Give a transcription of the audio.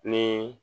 Ni